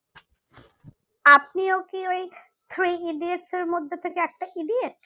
আপনিও কি ওই three idiots এর মধ্যে থেকে একটা idiots